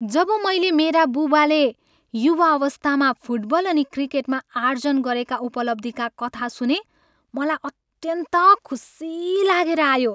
जब मैले मेरा बुबाले युवावस्थामा फुटबल अनि क्रिकेटमा आर्जन गरेका उपलब्धीका कथा सुनेँ, मलाई अत्यन्त खुसी लागेर आयो।